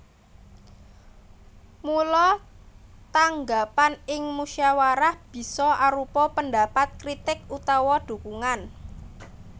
Mula tanggapan ing musawarah bisa arupa pendapat kritik utawa dukungan